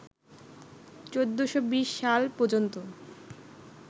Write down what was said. ১৪২০ সাল পর্যন্ত